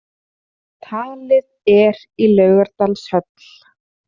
Talið er í Laugardalshöll